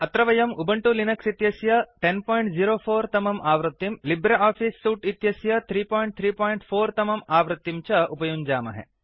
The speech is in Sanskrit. अत्र वयम् उबंटु लिनक्स् इत्यस्य 1004 तमम् आवृत्तिं लिब्रे आफिस् सूट् इत्यस्य 334 तमम् आवित्तिं च उपयुञ्जामहे